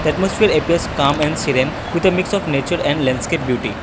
atmosphere appears calm and serene with a mix of nature and landscape beauty.